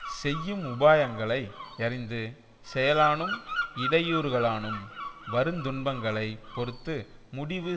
செய்யும் உபாயங்களை யறிந்து செயலானும் இடையூறுகளானும் வருந் துன்பங்களை பொறுத்து முடிவு